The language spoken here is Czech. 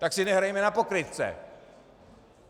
Tak si nehrajme na pokrytce.